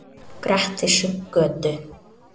Grettisgötu